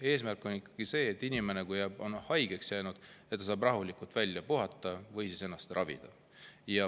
Eesmärk on ikkagi see, et kui inimene on haigeks jäänud, siis ta saab rahulikult välja puhata või ennast ravida.